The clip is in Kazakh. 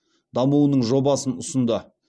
дамуының жобасын ұсынды